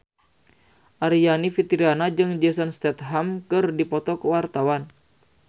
Aryani Fitriana jeung Jason Statham keur dipoto ku wartawan